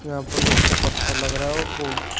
यहां पर नीचे पत्थर लग रहा है और